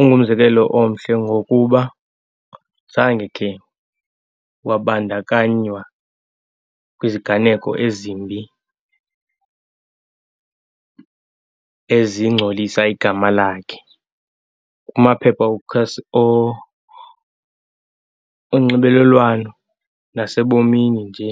ungumzekelo omhle ngokuba zange khe wabandakanywa kwiziganeko ezimbi, ezingcolisa igama lakhe kumaphepha onxibelelwano nasebomini nje.